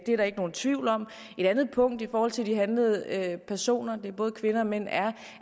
er der ikke nogen tvivl om et andet punkt i forhold til de handlede personer det er både kvinder og mænd er